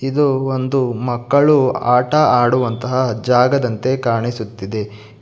ಇದು ಒಂದು ಮಕ್ಕಳು ಆಟ ಆಡುವಂತಹ ಜಾಗದಂತೆ ಕಾಣಿಸುತ್ತಿದೆ.